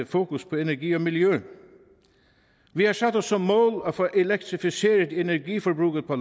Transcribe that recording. fokus på energi og miljø vi har sat os som mål at få elektrificeret energiforbruget på